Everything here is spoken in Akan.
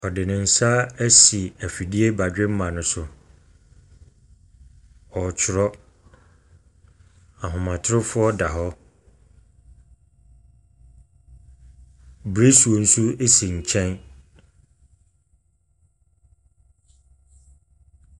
Ɔde ne nsa esi efidie badwemma ne so. Ɔtwerɔ , ahoma torofoɔ da hɔ. Bresuo so esi nkyɛn.